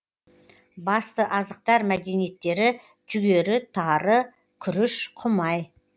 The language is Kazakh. басты азықтар мәдиенеттері жүгері тары күріш құмай